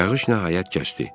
Yağış nəhayət kəsdi.